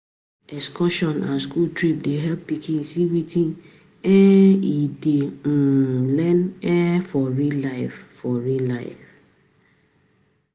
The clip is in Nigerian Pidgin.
Excursion and school trip dey help pikin see wetin um e dey um learn for real life for real life.